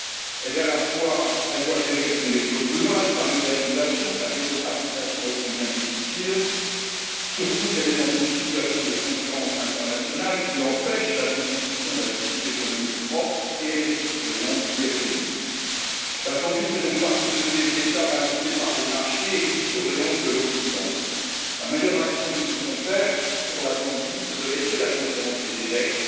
Elle doit gérer son exode rural, sa modernisation et sa démocratisation, ô combien difficile, surtout qu'elle est dans une situation de concurrence internationale qui empêche la constitution d'un tissu économique propre et qu'elle est sous surveillance du FMI. La Zambie fait donc partie de ces États ballottés par les marchés et sous surveillance de l'Occident. La meilleure action que nous pouvons faire pour ce pays, c'est de laisser la Conférence des évêques